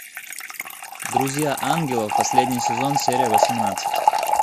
друзья ангелов последний сезон серия восемнадцать